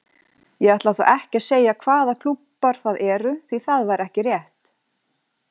Ég ætla þó ekki að segja hvaða klúbbar það eru því það væri ekki rétt.